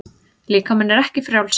Líkaminn er ekki frjáls.